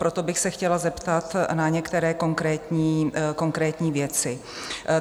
Proto bych se chtěla zeptat na některé konkrétní věci.